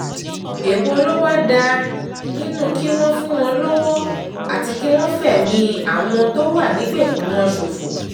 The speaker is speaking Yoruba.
èwo ló wáá dáa nínú kí wọ́n fún wọn lọ́wọ́ àti kí wọ́n fẹ̀mí àwọn àwọn tó wà nígbèkùn wọn ṣòfò